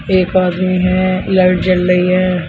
एक आदमी है लाइट जल रही है।